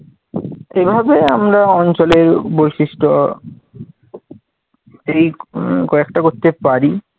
এভাবে আমরা অঞ্চলের বৈশিষ্ট্য এই উম কয়েকটা করতে পারি।